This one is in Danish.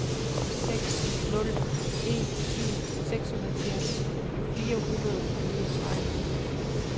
seks nul en syv seksoghalvfjerds fire hundrede og niogtredive